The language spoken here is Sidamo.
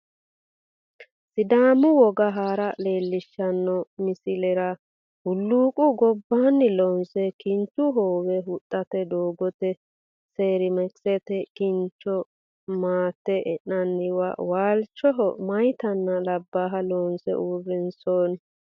Sidaamu woga Hara leellishshanno midlsilera hulluuqu gobbaanni loonse kinchu hoowe huxxite doogote seeramikisete kincho matte e'nanniwa waalchoho meyaatanna labbaaha loonse uurrinsoonni.